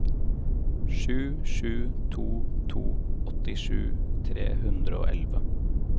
sju sju to to åttisju tre hundre og elleve